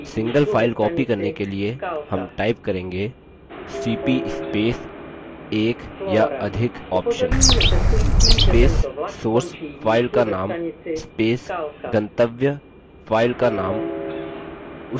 single file copy करने के लिए हम type करेंगेcp space एक या अधिक option space source file का name space गंतव्य file का name